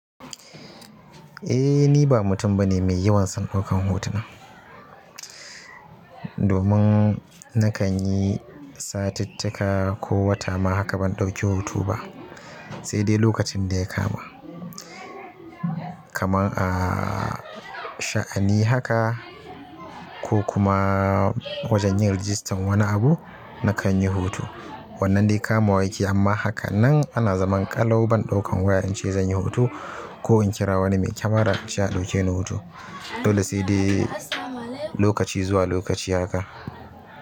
Eh ni ba mutum bane mai yawan san ɗaukan hotuna. Domin, na kan yi, satittaka, ko wata ma haka ban ɗauki hoto ba, sai dai lokacin da ya kama. Kaman ahh sha'ani haka ko kuma, wajen yin rijistan wani abu na kan yi hutu. Wannan dai ka ma wa yake amma hakanan ana zaman ƙalau ban ɗaukan waya in ce zan yi hoto ko in kira wani me kyamara ince a ɗauke ni hoto. Dole sai dai, lokaci zuwa lokaci haka.